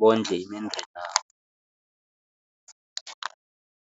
bondle imindeni yabo.